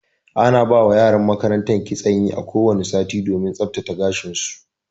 Ana ba wa yaran makaranta kitson yi a ko wani sati domin tsaftsace gashin su.